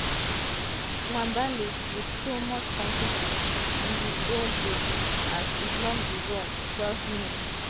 nwabali wit so much confidence on di goalpost as e block di ball 12mins-